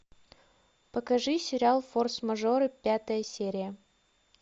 покажи сериал форс мажоры пятая серия